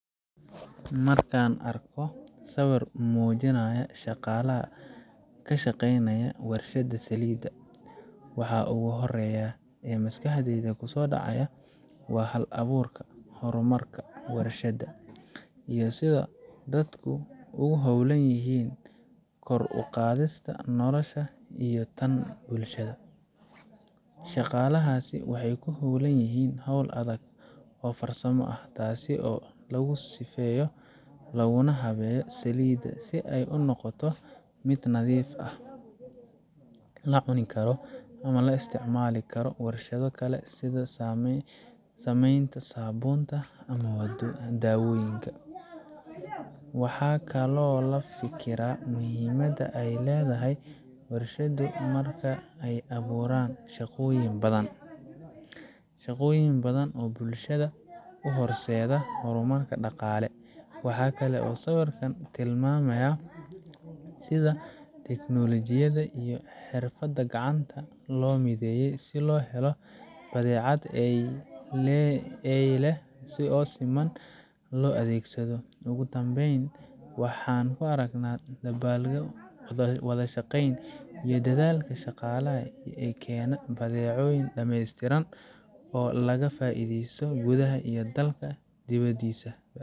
Marka aan arko sawirka muujinaya shaqaalaha ka shaqeynaya warshadda saliidda, waxa ugu horreeya ee maskaxdayda ku soo dhaca waa hal abuurka, horumarka warshadaha, iyo sida dadku ugu hawlan yihiin kor u qaadista noloshooda iyo tan bulshada. Shaqaalahaasi waxay ku hawlan yihiin hawl adag oo farsamo, taas oo lagu sifeeyo laguna habeeyo saliid si ay u noqoto mid nadiif ah, la cuni karo, ama loo isticmaali karo warshado kale sida samaynta saabuunta ama daawooyinka. Waxaan kaloo ka fikiraa muhiimadda ay leedahay warshaduhu marka ay abuuraan shaqooyin badan oo bulshooyinka u horseeda horumar dhaqaale. Waxa kale oo sawirkani tilmaamayaa sida tiknoolajiyadda iyo xirfadda gacanta loo mideeyey si loo helo badeecad tayo leh oo si siman ah loo adeegsado. Ugu dambayn, waxaan ku arkaa dedaal, wada shaqeyn, iyo dadaalka shaqaalaha si ay u keenaan badeeco dhammeystiran oo laga faa’iideysto gudaha dalka iyo dibaddiisaba.